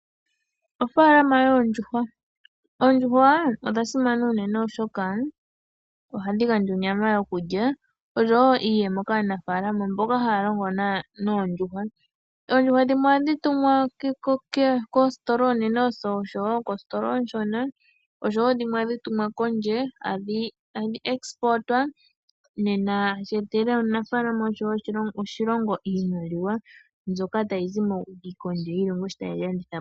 Ofaalama yoondjuhwa Oondjuhwa odha simana unene oshoka ohadhi gandja onyama yokulya noshowo iiyemo kaanafaalama mboka haya longo noondjuhwa. Oondjuhwa dhimwe ohadhi tumwa koositola oonene noshowo koositola oonshona noshowo dhimwe ohadhi tumwa kondje, tashi etele omunafaalama noshowo oshilongo iimaliwa mbyoka tayi zi kondje yiilongo sho taye dhi landitha po.